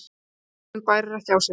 Hesturinn bærir ekki á sér.